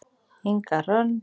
Inga Hrönn.